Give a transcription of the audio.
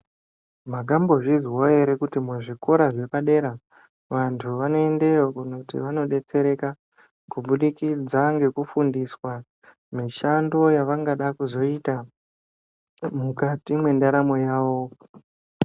Makambozvizwawo ere kuti muzvikora zvepadera vantu vanoendeyo kunoti vanodetsereka kubudukidza ngekufundiswa mishando yavangade kuzoita mukati mwendaramo yavo.